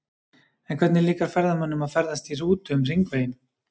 En hvernig líkar ferðamönnum að ferðast í rútu um hringveginn?